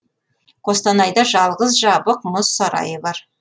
қостанайда жалғыз жабық мұз сарайы бар